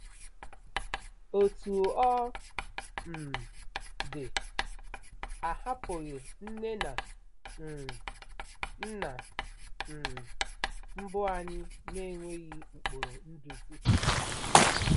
Otú ọ um dị, a hapụghị nne na um nna um mbụ anyị n'enweghị ụkpụrụ nduzi.